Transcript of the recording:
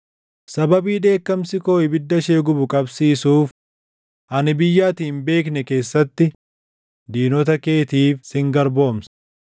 Sababii dheekkamsi koo ibidda ishee gubu qabsiisuuf, ani biyya ati hin beekne keessatti diinota keetiif sin garboomsa.”